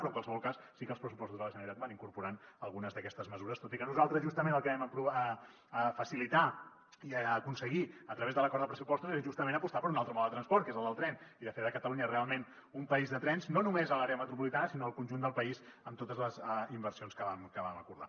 però en qualsevol cas sí que els pressupostos de la generalitat van incorporant algunes d’aquestes mesures tot i que nosaltres justament el que vam facilitar i aconseguir a través de l’acord de pressupostos és justament apostar per un altre mode de transport que és el del tren i fer de catalunya realment un país de trens no només a l’àrea metropolitana sinó al conjunt del país amb totes les inversions que vam acordar